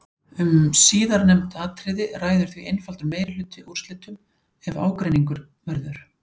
Um síðarnefnd atriði ræður því einfaldur meirihluti úrslitum ef ágreiningur verður.